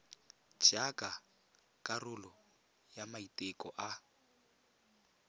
jaaka karolo ya maiteko a